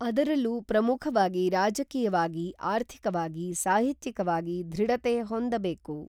ಅದರಲ್ಲೂ ಪ್ರಮುಖವಾಗಿ ರಾಜಕೀಯವಾಗಿ ಆರ್ಥಿಕವಾಗಿ ಸಾಹಿತ್ಯಿಕವಾಗಿ ಧೃಡತೆ ಹೊಂದಬೇಕು.